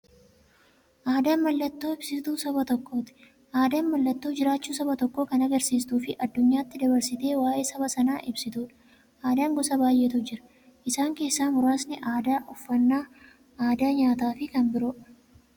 Aadaan mallattoo ibsituu saba tokkooti. Aadaan mallattoo jiraachuu saba tokkoo kan agarsiistufi addunyyaatti dabarsitee waa'ee saba sanaa ibsituudha. Aadaan gosa baay'eetu jira. Isaan keessaa muraasni aadaa, uffannaa aadaa nyaataafi kan biroo.